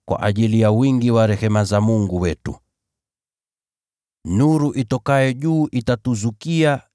kwa ajili ya wingi wa rehema za Mungu wetu, nuru itokayo juu itatuzukia